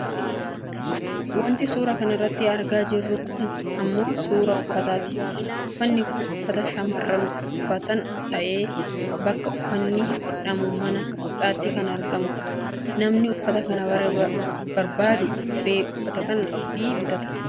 Wanti suuraa kanarratti argaa jiru kun ammoo suuraa uffataati. Uffanni kun uffata shamarran uffatan ta'ee bakka uffanni hodhamu mana hodhaatti kan argamudha . Namni uffata kana barbaadu dhufee uffata kan asii bitata.